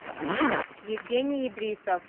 евгений идрисов